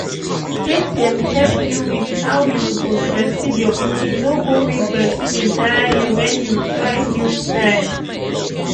make dem help you with how you suppose breastfeed your pikin no go make breastfeeding tire you when you try new style